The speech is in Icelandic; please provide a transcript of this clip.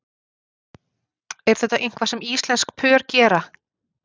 Er þetta eitthvað sem íslensk pör gera?